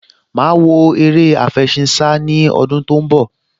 Màá wo eré àfẹṣinsá ní ọdún tó ń bọ̀